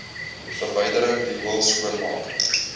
verwydering riool skoonmaak